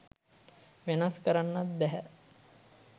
වෙනස් කරන්නත් බැහැ